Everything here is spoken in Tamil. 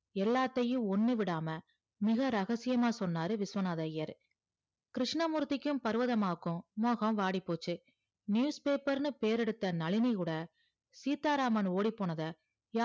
எல்லாத்தையும் ஒன்னு விடாம மிக ரகசியமா சொன்னாரு விஸ்வநாதர் ஐயர் கிருஸ்னமூர்த்தி பருவதாம்மாவுக்கு மோகம் வாடி போச்சி newspaper ன்னு பேரு எடுத்த நழினி கூட சீத்தாராமான் ஓடி போனத